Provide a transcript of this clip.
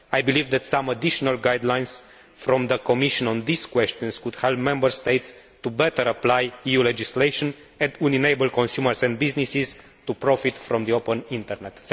I believe that some additional guidelines from the Commission on these questions could help Member States to better apply EU legislation and would enable consumers and businesses to profit from the open internet.